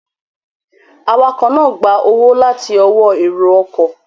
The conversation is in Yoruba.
Awakọ̀ náà gba owó láti ọwọ́ èrò ọkọ̀